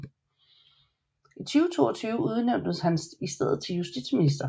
I 2022 udnævntes han i stedet til justitsminister